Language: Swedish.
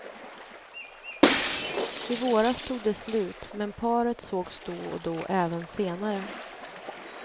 I våras tog det slut, men paret sågs då och då även senare.